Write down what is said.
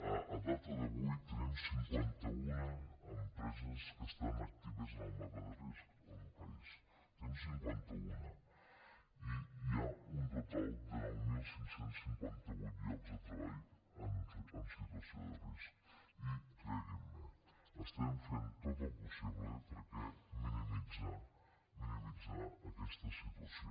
a data d’avui tenim cinquanta un empreses que estan actives en el mapa de risc al país en tenim cinquanta un i hi ha un total de nou mil cinc cents i cinquanta vuit llocs de treball en situació de risc i creguin me estem fent tot el possible per minimitzar minimitzar aquesta situació